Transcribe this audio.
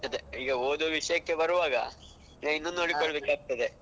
ಅದೇ ಈಗ ಓದುವ ವಿಷಯಕ್ಕೆ ಬರುವಾಗ